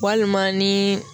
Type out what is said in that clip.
Walima ni